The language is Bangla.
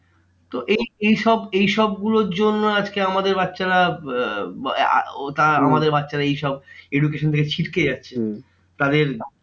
তো এই এইসব এইসব গুলোর জন্য আজকে আমাদের বাচ্চারা আমাদের বাচ্চারা এইসব education থেকে ছিটকে যাচ্ছে তাদের